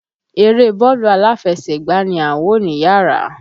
Eré bọ́ọ̀lù aláfẹsẹ̀gbá ni à ń wò níyàrá.